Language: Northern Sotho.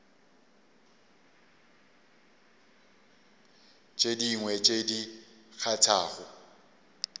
tše dingwe tše di kgathago